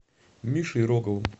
мишей роговым